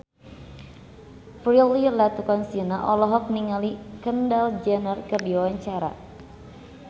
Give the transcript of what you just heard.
Prilly Latuconsina olohok ningali Kendall Jenner keur diwawancara